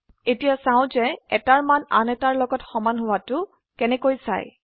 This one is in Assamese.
এতিয়া চাও যে এটাৰ মান আন এটাৰ লগত সমান হোৱাটো কেনেকৈ চাই